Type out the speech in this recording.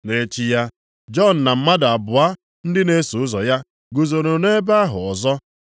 Nʼechi ya, Jọn na mmadụ abụọ ndị na-eso ụzọ ya guzoro nʼebe ahụ ọzọ.